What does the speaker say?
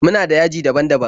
Muna da .yaji daban-daban.